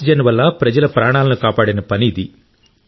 oxygen వల్ల ప్రజల ప్రాణాలను కాపాడిన పని ఇది